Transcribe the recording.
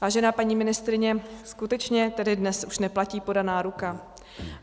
Vážená paní ministryně, skutečně tedy dnes už neplatí podaná ruka?